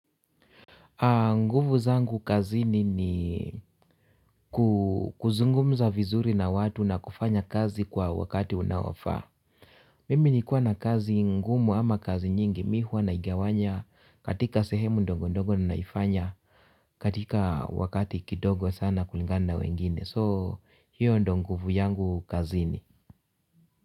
Nguvu zangu kazini ni kuzungumza vizuri na watu na kufanya kazi kwa wakati unaofaa. Mimi nikiwa na kazi ngumu ama kazi nyingi mimi huwa naigawanya katika sehemu ndogo ndogo na naifanya katika wakati kidogo sana kulingana na wengine so hiyo ndiyo nguvu yangu kazini.